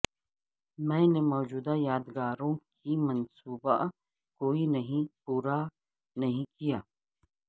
میں نے موجودہ یادگاروں کی منصوبہ کوئی نہیں پورا نہیں کیا